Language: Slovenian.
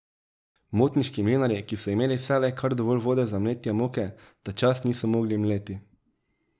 Motniški mlinarji, ki so imeli vselej kar dovolj vode za mletje moke, tačas niso mogli mleti.